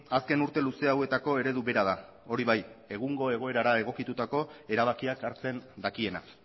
azken urte luze hauetako eredu bera da hori bai egungo egoerara egokitutako erabakiak hartzen dakiena